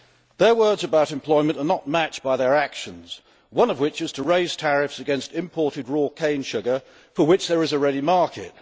Their words about employment are not matched by their actions, one of which is to raise tariffs against imported raw sugar cane for which there is a ready market.